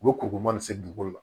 U bɛ koko mana se dugukolo la